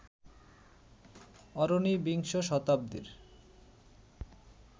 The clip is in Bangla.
অরণি বিংশ শতাব্দীর